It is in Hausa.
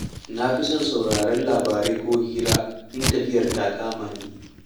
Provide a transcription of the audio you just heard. Na fi son sauraren labarai ko hira in tafiya ta kama ni.